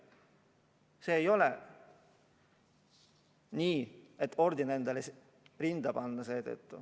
See ei ole asi, mille eest orden endale rinda panna.